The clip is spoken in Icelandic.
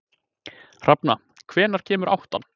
Hrafna, hvenær kemur áttan?